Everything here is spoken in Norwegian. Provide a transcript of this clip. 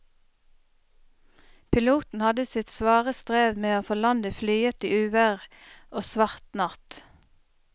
Piloten hadde sitt svare strev med å få landet flyet i uvær og svart natt.